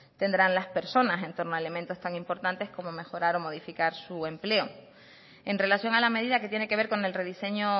tendrán las personas en torno a elementos tan importantes como mejorar o modificar su empleo en relación a la medida que tiene que ver con el rediseño